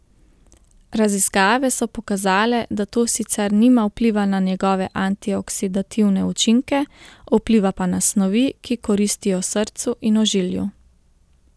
Raziskave so pokazale, da to sicer nima vpliva na njegove antioksidativne učinke, vpliva pa na snovi, ki koristijo srcu in ožilju.